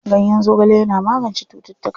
Ganyen zogale yana magance cututtuka.